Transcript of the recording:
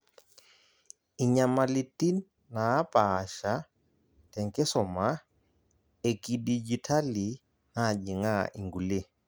Inyamalitin naapasha tenkisuma ekidijitali najing'aa inkulie